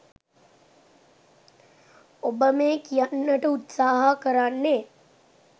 ඔබ මේ කියන්නට උත්සාහ කරන්නේ